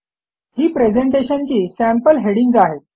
ही presentation ची sample headings आहेत